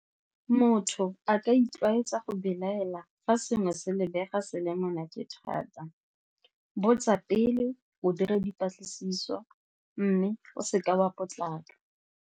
Motho a ka itlwaetsa go belaela fa sengwe se lebega selemo nna ke thata, botsa pele, o dire dipatlisiso mme o seka wa potlaka.